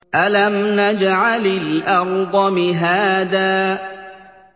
أَلَمْ نَجْعَلِ الْأَرْضَ مِهَادًا